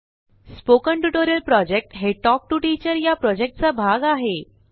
spoken tutorial project हे talk to teacher या प्रॉजेक्टचा भाग आहे